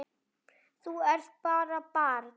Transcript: Þú ert bara barn.